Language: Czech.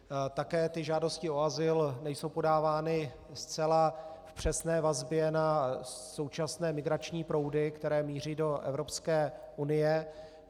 Také ty žádosti o azyl nejsou podávány zcela v přesné vazbě na současné migrační proudy, které míří do Evropské unie.